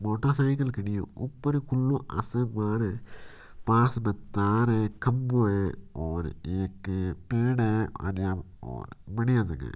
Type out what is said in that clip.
Motor cycle खड़ी है ऊपर खुलो आसमान है पास में तार है खम्बो है और एक पेड़ है ओरी बहुत बडिया जगह है।